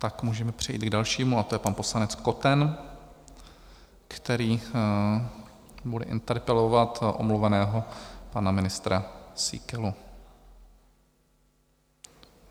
Tak můžeme přejít k dalšímu a to je pan poslanec Koten, který bude interpelovat omluveného pana ministra Síkelu.